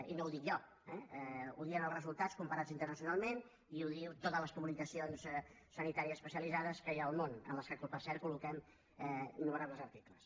i no ho dic jo ho diuen els resultats comparats internacionalment i ho diuen totes les publicacions sanitàries especialitzades que hi ha al món en què per cert colloquem innumerables articles